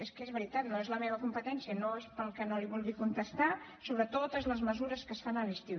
és que és veritat no és la meva competència no és que no li vulgui contestar sobre totes les mesures que es fan a l’estiu